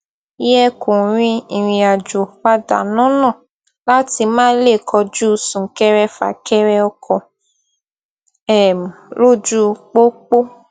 yẹ kó rin ìrìnàjò padà lọnà láti má leè kojú súnkẹrẹ fàkẹrẹ ọkọ um lójú pópó